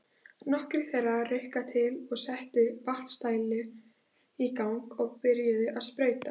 Nokkrir þeirra ruku til og settu vatnsdælur í gang og byrjuðu að sprauta.